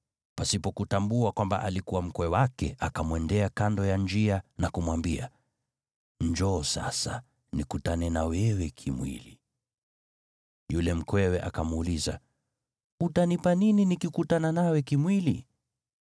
Pasipo kutambua kwamba alikuwa mkwe wake, akamwendea kando ya njia na kumwambia, “Njoo sasa, nikutane na wewe kimwili.” Yule mkwewe akamuuliza, “Utanipa nini nikikutana nawe kimwili?”